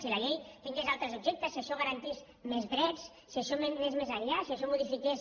si la llei tingués altres objectes si això garantís més drets si això anés més enllà si això modifiqués